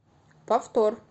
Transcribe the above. повтор